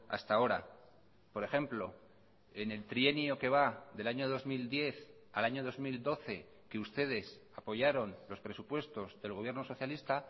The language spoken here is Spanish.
hasta ahora por ejemplo en el trienio que va del año dos mil diez al año dos mil doce que ustedes apoyaron los presupuestos del gobierno socialista